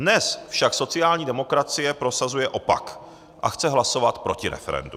Dnes však sociální demokracie prosazuje opak a chce hlasovat proti referendu.